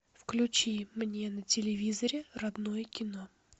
включи мне на телевизоре родное кино